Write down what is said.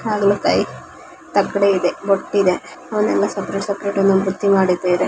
ಹಾಗಲಕಾಯಿ ತಕ್ಕಡಿ ಇದೆ ಎಲ್ಲಾ ತರಕಾರಿಗಳನ್ನು ಸಪರೇಟ್ ಸಪರೇಟ್ ಆಗಿ ಜೋಡ್ಸಿದ್ದಾರೆ.